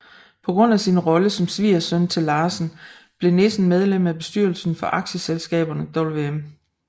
På grund af sin rolle som svigersøn til Larsen blev Nissen medlem af bestyrelserne for aktieselskaberne Wm